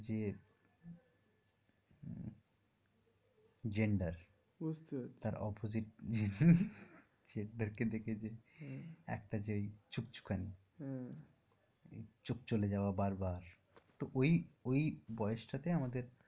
gender বুঝতে পারছি তার opposite gender কে দেখে যে একটা যে ওই ছুকছুকানী হম ওই চোখ চলে যাওয়া বার বার তা ওই ওই বয়সটাতে আমাদের,